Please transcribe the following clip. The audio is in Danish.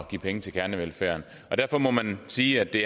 give penge til kernevelfærden derfor må man sige at det